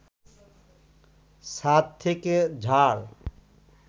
ছাদ থেকে ঝাড়